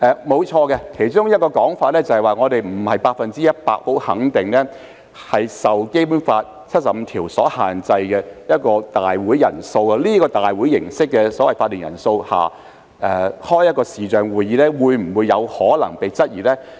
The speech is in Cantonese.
沒錯，其中一個說法是我們不能百分之一百肯定，《基本法》第七十五條下的立法會會議人數限制，在這個立法會會議法定人數下所舉行的視像會議，是否有可能被質疑。